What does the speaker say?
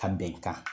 Ka bɛnkan